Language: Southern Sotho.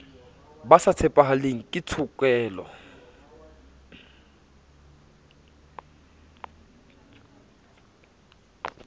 ba sa tshepahaleng ke tshokelo